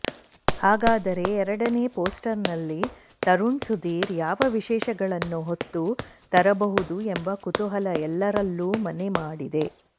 ಹಾಗಾದರೆ ಎರಡನೇ ಪೋಸ್ಟರ್ನಲ್ಲಿ ತರುಣ್ ಸುಧೀರ್ ಯಾವ ವಿಶೇಷಗಳನ್ನು ಹೊತ್ತು ತರಬಹುದು ಎಂಬ ಕುತೂಹಲ ಎಲ್ಲರಲ್ಲೂ ಮನೆ ಮಾಡಿದೆ